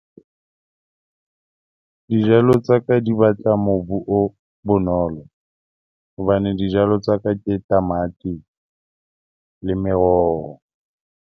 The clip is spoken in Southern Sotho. Dijalo tsa ka di batla mobu o bonolo, hobane dijalo tsa ka ke tamati le meroho.